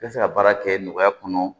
I bɛ se ka baara kɛ nɔgɔya kɔnɔ